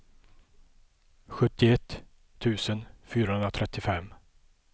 sjuttioett tusen fyrahundratrettiofem